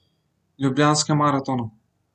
Ljubljanskem maratonu.